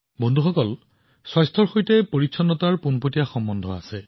বন্ধুসকল স্বাস্থ্যও পৰিষ্কাৰপৰিচ্ছন্নতাৰ সৈতে পোনপটীয়াকৈ সম্পৰ্কিত